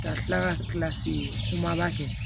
Ka kila ka kilasi kumaba kɛ